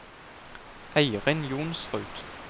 Eirin Johnsrud